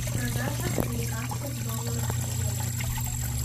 продажа американских долларов в евро